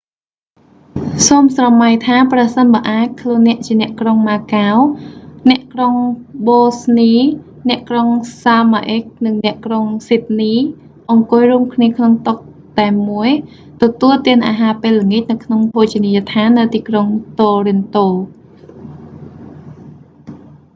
សូមស្រមៃថា ប្រសិនបើអាច ខ្លួនអ្នក ជាអ្នកក្រុងម៉ាកាវ អ្នកក្រុងប៊ូស្នី អ្នកក្រុងសាម៉ាអ៊ិក និងអ្នកក្រុងស៊ីដនី អង្គុយរួមគ្នាក្នុងតុតែមួយ ទទួលទានអាហារពេលល្អាចនៅក្នុងភោជនីយដ្ឋាននៅទីក្រុងតូរិនតូ